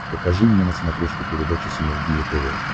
покажи мне на смотрешке передачу синергия тв